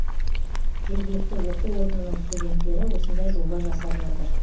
жергілікті оқу орнының студенттері осындай жоба жасап жатыр